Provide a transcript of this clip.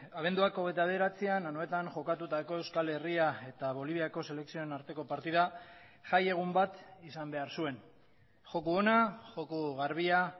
abenduak hogeita bederatzian anoetan jokatutako euskal herria eta boliviako selekzioen arteko partida jai egun bat izan behar zuen joko ona joko garbia